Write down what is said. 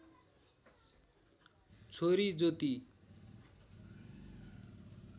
छोरी ज्योति